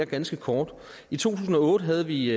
ganske kort i to tusind og otte havde vi